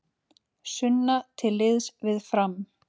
Sunna til liðs við Fram